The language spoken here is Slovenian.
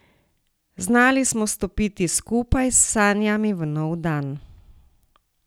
Znali smo stopiti skupaj, s sanjami v nov dan.